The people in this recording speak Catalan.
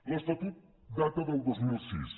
l’estatut data del dos mil sis